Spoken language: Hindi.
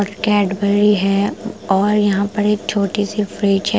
और कैड़बेरी है और यहाँ पर एक छोटी सी फ्रिज है ।